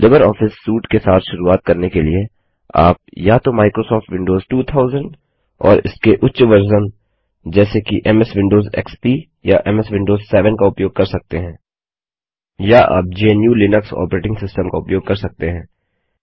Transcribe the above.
Libre Office suite के साथ शुरुआत करने के लिए आप या तो माइक्रोसॉफ़्ट विंडोज़ 2000 और इसके उच्च वर्ज़न जैसे कि एमएस विंडोज एक्सपी या एमएस विंडोज 7 का उपयोग कर सकते हैं या आप gnuलिनक्स ऑपरेटिंग सिस्टम का उपयोग कर सकते हैं